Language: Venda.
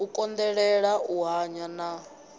u konḓelela u hanya na